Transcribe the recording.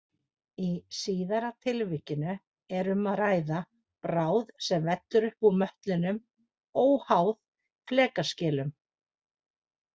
Í síðara tilvikinu er um að ræða bráð sem vellur upp úr möttlinum óháð flekaskilum.